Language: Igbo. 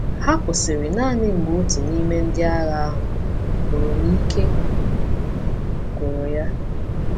Ha kwụsịrị naanị mgbe otu n’ime ndị agha ahụ kwuru na ike gwụrụ ya.